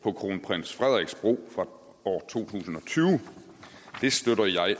på kronprins frederiks bro fra år to tusind og tyve det støtter jeg